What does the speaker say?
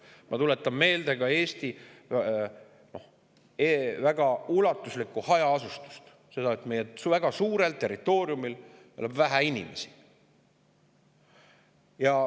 Ma tuletan meelde ka Eesti väga ulatuslikku hajaasustust – seda, et meie väga suurel territooriumil elab vähe inimesi.